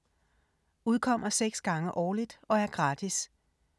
Udkommer 6 gange årligt og er gratis.